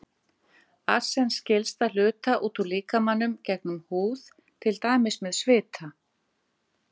Arsen skilst að hluta út úr líkamanum gegnum húð, til dæmis með svita.